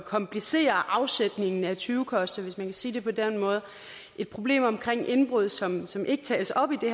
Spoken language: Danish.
komplicere afsætningen af tyvekoster hvis man kan sige det på den måde et problem omkring indbrud som som ikke tages op i det